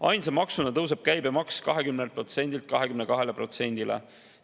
Ainsa maksuna tõuseb käibemaks 20%-lt 22%-le.